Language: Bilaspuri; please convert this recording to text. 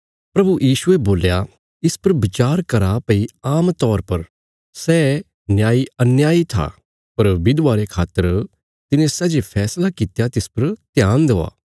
प्रभु यीशुये बोल्या इस पर बचार करा भई आमतौर पर सै न्यायी अन्याई था पर विधवा रे खातर तिने सै जे फैसला कित्या तिस पर ध्यान देआ